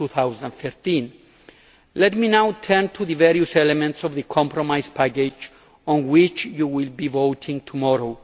2013. Let me now turn now to the various elements of the compromise package on which you will be voting tomorrow.